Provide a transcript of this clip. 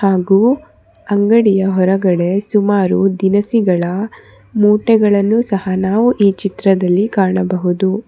ಹಾಗು ಅಂಗಡಿಯ ಹೊರಗಡೆ ಸುಮಾರು ದಿನಸಿಗಳ ಮೂಟೆಗಳನ್ನು ಸಹ ನಾವು ಈ ಚಿತ್ರದಲ್ಲಿ ಕಾಣಬಹುದು.